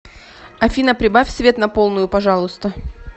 афина прибавь свет на полную пожалуйста